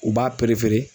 U b'a